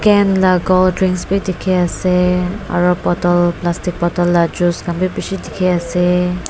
cane la cold drinks bi dikhi ase aru bottle plastic bottle la juice khan bi bishi dikhi ase.